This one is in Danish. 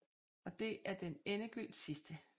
Og det er den endegyldigt sidste